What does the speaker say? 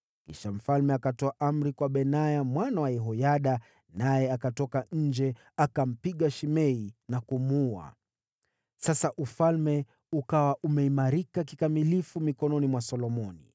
Kisha mfalme akatoa amri kwa Benaya mwana wa Yehoyada, naye akatoka nje, akampiga Shimei na kumuua. Sasa ufalme ukawa umeimarika kikamilifu mikononi mwa Solomoni.